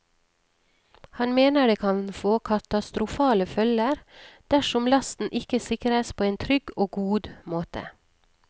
Han mener det kan få katastrofale følger dersom lasten ikke sikres på en trygg og god måte.